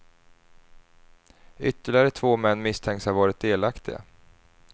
Ytterligare två män misstänks ha varit delaktiga.